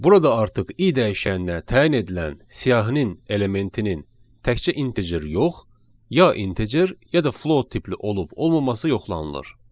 Burada artıq i dəyişəninə təyin edilən siyahının elementinin təkcə integer yox, ya integer ya da float tipli olub-olmaması yoxlanılır.